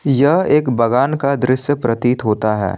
यह एक बगान का दृश्य प्रतीत होता है।